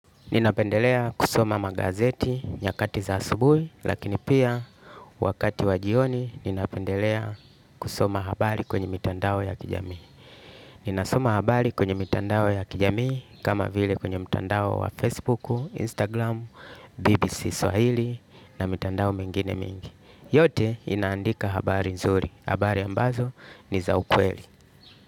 Ninapendelea kusoma magazeti nyakati za asubui lakini pia wakati wa jioni ninapendelea kusoma habari kwenye mitandao ya kijami. Ninasoma habari kwenye mitandao ya kijamii kama vile kwenye mitandao wa Facebook, Instagram, BBC Swahili na mitandao mengine mingi. Yote inaandika habari nzuri. Habari ambazo ni za ukweli.